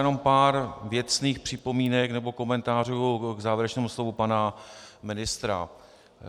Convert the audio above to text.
Jenom pár věcných připomínek nebo komentářů k závěrečnému slovu pana ministra.